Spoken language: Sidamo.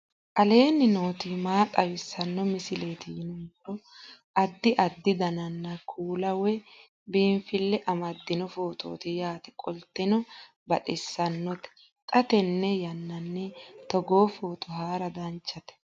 aleenni nooti maa xawisanno misileeti yinummoro addi addi dananna kuula woy biinsille amaddino footooti yaate qoltenno baxissannote xa tenne yannanni togoo footo haara danchate